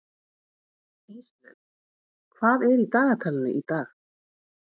Íslaug, hvað er í dagatalinu í dag?